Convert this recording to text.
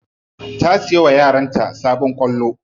Ta siya wa yaranta sabon kwallo.